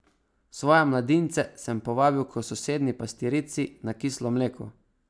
Svoje mladince sem povabil k sosednji pastirici na kislo mleko.